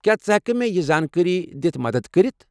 کیٚا ژٕ ہٮ۪کہٕ مےٚ یہِ زانٛکٲری دِتھ مدتھ كرِتھ ۔